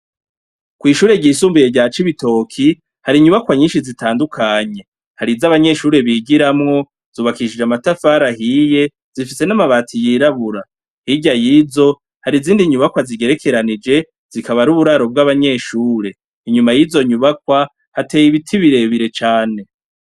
Kwishure ryisumbuye rya Cibitoke, hari inyubakwa nyinshi zitandukanye. Hari izanbanyeshure bigiramwo zubakishije amatafari ahiye zifise namabati yirabura, hirya yizo hari izindi nyubakwa zigerekeranije zikaba ari uburaro bw’abanyeshure, inyuma yizo nyubakwa hateye ibiti birebire cane.